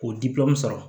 K'o sɔrɔ